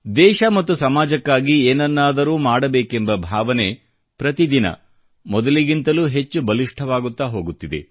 ದೇಶ ಮತ್ತು ಸಮಾಜಕ್ಕಾಗಿ ಏನನ್ನಾದರೂ ಮಾಡಬೇಕೆಂಬ ಭಾವನೆ ಪ್ರತಿದಿನ ಮೊದಲಿಗಿಂತಲೂ ಹೆಚ್ಚು ಬಲಿಷ್ಠವಾಗುತ್ತಾ ಹೋಗುತ್ತಿದೆ